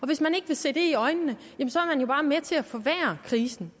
hvis man ikke vil se det i øjnene bare med til at forværre krisen